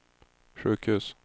sjukhus